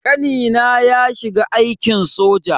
Kanina ya shiga aikin soja.